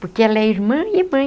Porque ela é irmã e mãe.